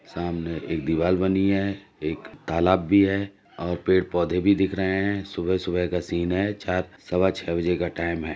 सामने एक दीवाल बनी है। एक तालाब भी है और पेड़ पौधे भी दिख रहे हैं। सुबह सुबह का सीन है। चार सवा छे बजे का टाइम है।